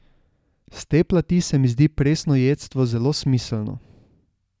S te plati se mi zdi presnojedstvo zelo smiselno.